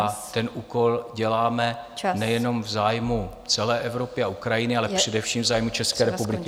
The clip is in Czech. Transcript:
A ten úkol děláme nejenom v zájmu celé Evropy a Ukrajiny, ale především v zájmu České republiky.